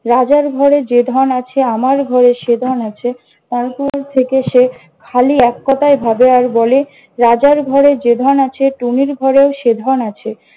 রাজার ঘরে যে ধন আছে, আমার ঘরে সে ধন আছে। তারপর থেকে সে খালি এক কথাই ভাবে আর বলে, রাজার ঘরে যে ধন আছে টুনির ঘরেও সে ধন আছে।